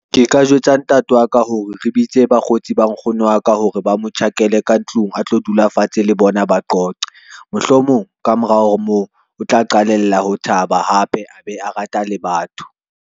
Ke ka jwetsa ntate wa ka hore re bitse bakgotsi ba nkgono wa ka hore ba mo tjhakele ka ntlong, a tlo dula fatshe le bona ba qoqe. Mohlomong ka mora ho moo o tla qalella ho taba hape, a be a rata le batho.